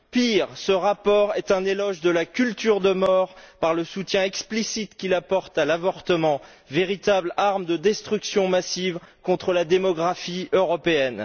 Pire, ce rapport est un éloge de la culture de mort par le soutien explicite qu'il apporte à l'avortement, véritable arme de destruction massive contre la démographie européenne.